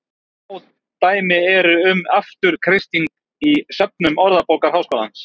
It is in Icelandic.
Fá dæmi eru um afturkreisting í söfnum Orðabókar Háskólans.